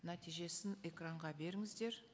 нәтижесін экранға беріңіздер